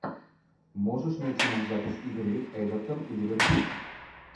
можешь найти нам запись игры эвертон и ливерпуль